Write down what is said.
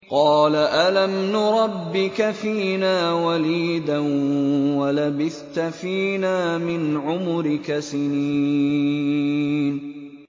قَالَ أَلَمْ نُرَبِّكَ فِينَا وَلِيدًا وَلَبِثْتَ فِينَا مِنْ عُمُرِكَ سِنِينَ